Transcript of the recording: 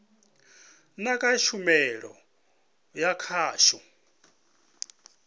na kha tshumelo ya khasho